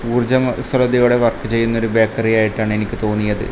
ഊർജം സ്വലതയുടെ വർക്ക് ചെയ്യുന്ന ഒരു ബേക്കറി ആയിട്ടാണ് എനിക്ക് തോന്നിയത്.